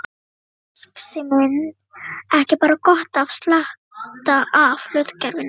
Hefði marxisminn ekki bara gott af slatta af hlutgervingu.